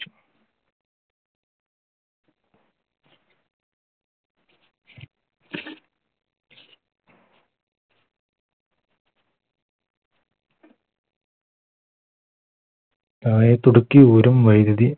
ഊരും വൈദ്യുതി